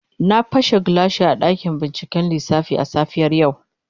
Na pashe gilashi a dakin binciken lissafi a safiyar yau.